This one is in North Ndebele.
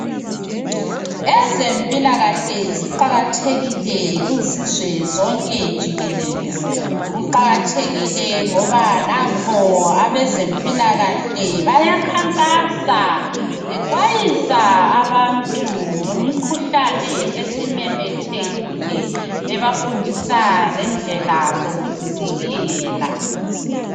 Ezemilakahle ziqakathekile kuzizwe zonke jikelele kuqakathekile ngoba nanko abezempilakahle bayakhankasa bexwayisa abantu ngemikhuhlane esimemethekile bebafundisa lendlela yokuzivikela.